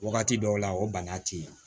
Wagati dɔw la o bana ti yen